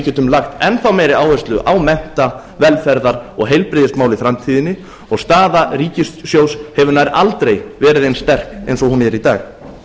munum geta lagt enn meiri áherslu á mennta velferðar og heilbrigðismál í framtíðinni staða ríkissjóðs hefur nær aldrei verið eins sterk og hún er í